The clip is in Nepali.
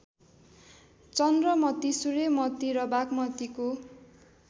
चन्द्रमती सूर्यमती र बागमतीको